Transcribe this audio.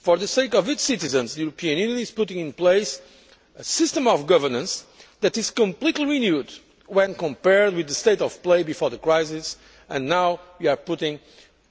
For the sake of its citizens, the European Union is putting in place a system of governance that is completely renewed when compared with the state of play before the crisis, and now we are putting